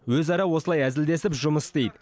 өзара осылай әзілдесіп жұмыс істейді